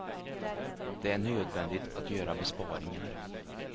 Det är nödvändigt att göra besparingar.